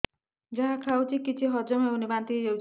ଯାହା ଖାଉଛି କିଛି ହଜମ ହେଉନି ବାନ୍ତି ହୋଇଯାଉଛି